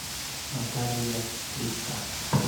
наталья скрипка